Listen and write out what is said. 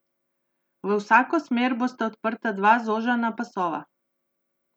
V vsako smer bosta odprta dva zožana pasova.